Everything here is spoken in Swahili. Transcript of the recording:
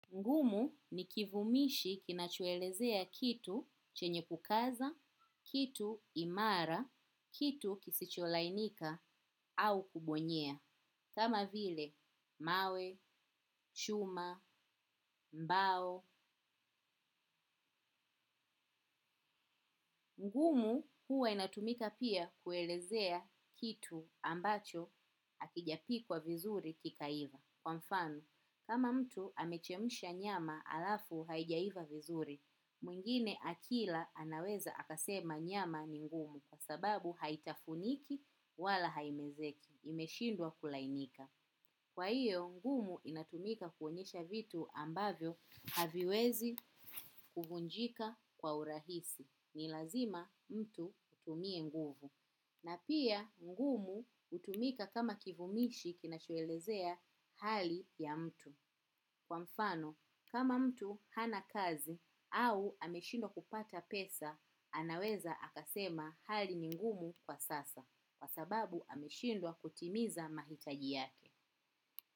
Ngumu ni kivumishi kinachoelezea kitu chenye kukaza, kitu imara, kitu kisicholainika au kubonyea. Kama vile, mawe, chuma, mbao, ngumu huwa inatumika pia kuelezea kitu ambacho hakijapikwa vizuri kikaiva. Kwa mfano, kama mtu amechemsha nyama halafu haijaiva vizuri, mwingine akila anaweza akasema nyama ni ngumu kwa sababu haitafuniki wala haimezeki, imeshindwa kulainika. Kwa hiyo, ngumu inatumika kuonyesha vitu ambavyo haviwezi kuvunjika kwa urahisi. Ni lazima mtu utumie nguvu. Na pia ngumu hutumika kama kivumishi kinachoelezea hali ya mtu. Kwa mfano, kama mtu hana kazi au ameshindawa kupata pesa anaweza akasema hali ni ngumu kwa sasa. Kwa sababu ameshindwa kutimiza mahitaji yake.